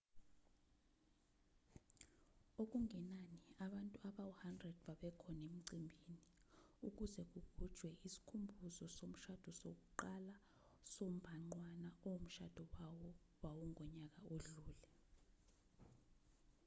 okungenani abantu abawu-100 babekhona emcimbini ukuze kugujwe isikhumbuzo somshado sokuqala sombhanqwana omshado wawo wawungonyaka odlule